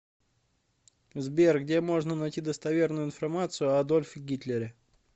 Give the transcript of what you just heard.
сбер где можно найти достоверную информацию о адольфе гитлере